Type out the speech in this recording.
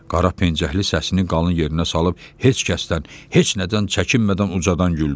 Qara pencəkli səsini qalın yerinə salıb heç kəsdən, heç nədən çəkinmədən ucadan güldü.